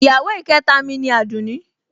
Ìyàwó ìkẹta mi ni Àdùnní